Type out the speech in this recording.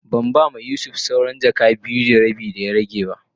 Ban ba ma Yusuf sawran jaka biyu da rabi da ya rage be.